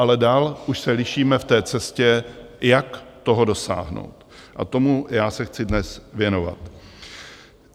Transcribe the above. Ale dál už se lišíme v té cestě, jak toho dosáhnout, a tomu já se chci dnes věnovat.